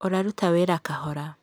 ũraruta wĩra kahora.